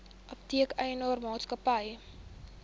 apteek eienaar maatskappy